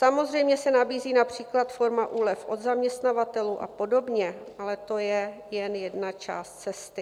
Samozřejmě se nabízí například forma úlev od zaměstnavatelů a podobně, ale to je jen jedna část cesty.